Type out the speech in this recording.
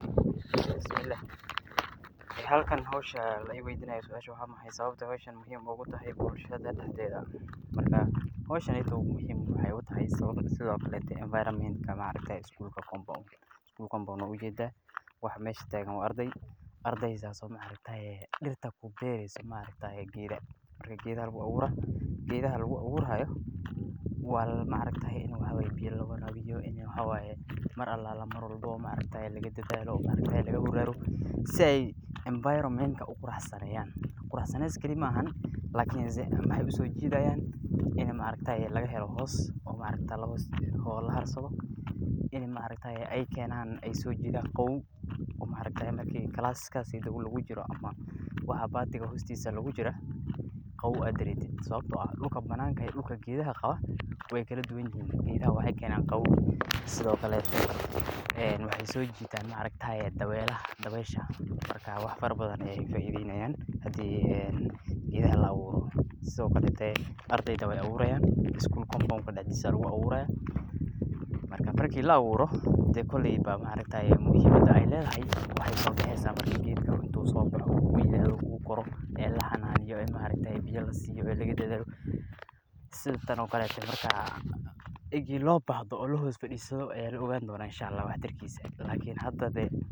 Halkan suasha lii weydinaayo waxaa waye waa maxaay sababta howshan muhiim ugu tahay bulshada dexdeeda, howshan muhiim waxaa utahay sababa badan, sido kale iskuulka compound waa ujeeda, waxa meesha taagan waa ardeey, ardeeydaas oo beereyso geeda, marka geedaha lagu abuuri haayo waa in biya lawaraabiyo, mar walbo laga taxadaro, si aay environment uqurxiyaan, qurux bes maahan lakin waxeey usoo jidaayan in laga helo hoos, oo laharsado, in aay keenan oo aay soo jiidan qaboow oo marka classka lagu jiro, ama baatiga hoostiisa lagu jira, qaboow aad dareentid, sababta oo ah ,dulka banaanka iyo dulka geedaha qaba waay kala duban yihiin, geedaha waxeey Keenan qaboow sido kale waxeey soo jiitana dabeesha, marka wax fara badan ayeey faideynayiin, sido kaleete ardeyda weey abuurayan, iskuul compound dexdiisa ayaa ku abuurayan, marki la abuuro muhiimada aay ledahay waxeey soo baxeysa marki uu geedaha aay koraan oo laxanaaneyo, biya lasiiyo ee lagu dadaalo, marki loo baahdo oo lahoos fadiisto ayaa la ogaan doona wax tar kiisa.